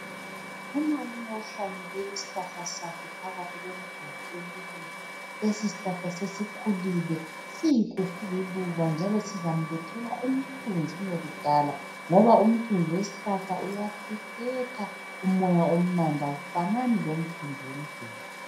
Umalume uhlanyele isihlahla sakhe phakathi komduli. Lesisihlahla sesikhulile sihle sililuba njalo sizamlethela umthunzi kungekudala njalo umthunzi wesihlahla awufanani lomthunzi womduli.